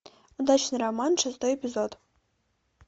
удачный роман шестой эпизод